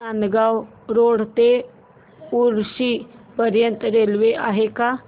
Nandgaon road ते उक्षी पर्यंत railway आहे का